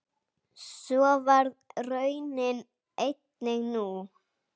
Svo varð raunin einnig nú.